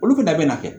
Olu fɛnɛ bɛ na kɛ